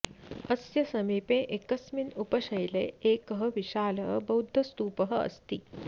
अस्य समीपे एकस्मिन् उपशैले एकः विशालः बौद्धस्तूपः अस्ति